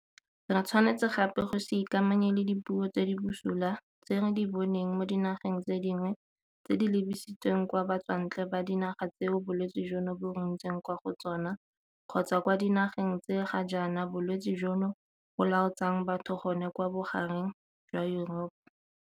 Re tshwanetse gape go se ikamanye le dipuo tse di bosula tse re di boneng mo dinageng tse dingwe tse di lebisitsweng kwa batswantle ba dinaga tseo bolwetse jono bo runtseng kwa go tsona kgotsa kwa dinageng tse ga jaana bolwetse jono bo lautsang batho gone kwa bogareng jwa Yuropa.